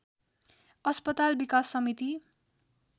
अस्पताल विकास समिति